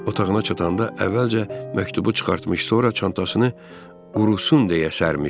Otağına çatanda əvvəlcə məktubu çıxartmış, sonra çantasını qurusun deyə sərmişdi.